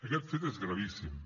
aquest fet és gravíssim